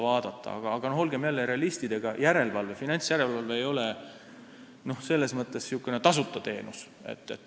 Aga jällegi, olgem realistid, ega finantsjärelevalve ei ole selles mõttes tasuta teenus.